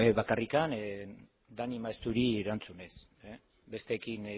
bueno bakarrik dani maezturi erantzunez besteekin